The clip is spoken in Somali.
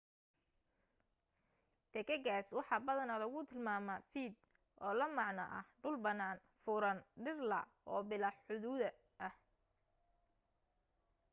taagagaas waxa badanaa lagu tilmaamaa vidde oo la macno ah dhul bannaan furan dhir la' oo bilaa xuduud ah